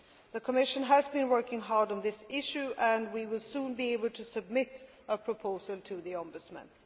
The Commission has been working hard on this issue and we will soon be able to submit a proposal to the Ombudsman.